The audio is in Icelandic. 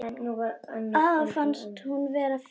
Afa fannst hún vera fín.